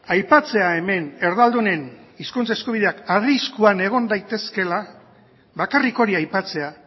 aipatzea hemen erdaldunen hizkuntza eskubideak arriskuan egon daitezkeela bakarrik hori aipatzea